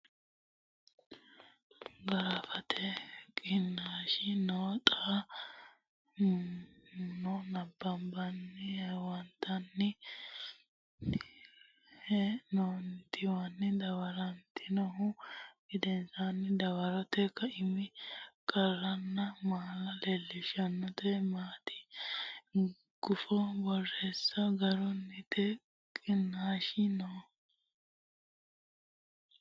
giraafete qiniishshi noo xa mo nabbabbine huwattinoonni dawartinihu gedensaanni dawarote kaiminni qarranna mala leellishshannota mitte gufo borreesse giraafete qiniishshi noo.